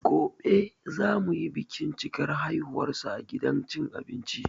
Goɓe za mu yi bikin cikar haihuwarsa a gidan cin abinci.